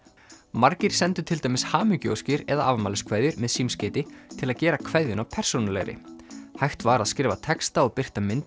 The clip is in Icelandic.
margir sendu til dæmis hamingjuóskir eða afmæliskveðjur með símskeyti til að gera kveðjuna persónulegri hægt var að skrifa texta og birta mynd